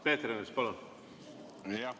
Peeter Ernits, palun!